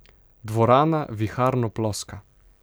Dvorana viharno ploska.